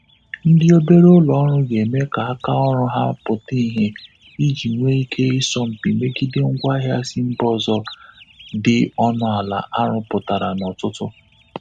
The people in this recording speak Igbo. Ndị obere ụlọ ọrụ ga-eme ka aka ọrụ ha pụta ìhe iji nwee ike ịsọ mpi megide ngwa ahịa si mba ọzọ di ọnụ ala arụpụtara n'ọtụtụ.